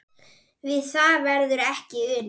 Við það verður ekki unað